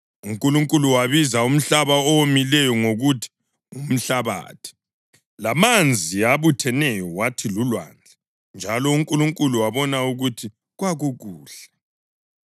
UNkulunkulu wabiza umhlaba owomileyo ngokuthi “ngumhlabathi,” lamanzi abutheneyo wathi “lulwandle.” Njalo uNkulunkulu wabona ukuthi kwakukuhle.